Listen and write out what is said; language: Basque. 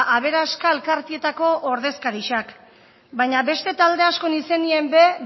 aberaska elkartietako ordezkarixak baina beste talde askon izenien be